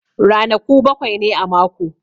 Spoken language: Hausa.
Ranaku bakwai ne a mako.